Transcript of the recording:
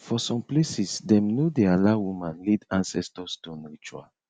for some places dem no dey allow woman lead ancestor stone ritual